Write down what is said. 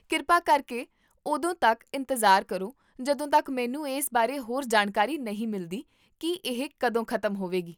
ਕਿਰਪਾ ਕਰਕੇ ਉਦੋਂ ਤੱਕ ਇੰਤਜ਼ਾਰ ਕਰੋ ਜਦੋਂ ਤੱਕ ਮੈਨੂੰ ਇਸ ਬਾਰੇ ਹੋਰ ਜਾਣਕਾਰੀ ਨਹੀਂ ਮਿਲਦੀ ਕੀ ਇਹ ਕਦੋਂ ਖ਼ਤਮ ਹੋਵੇਗੀ